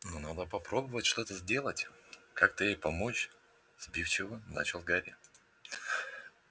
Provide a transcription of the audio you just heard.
но надо попробовать что-то сделать как-то ей помочь сбивчиво начал гарри